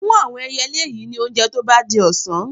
Fún àwọn ẹyẹlé yìí ní oúnjẹ tó bá di ọ̀sán.